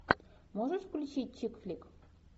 можешь включить чик флик